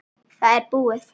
Það er búið.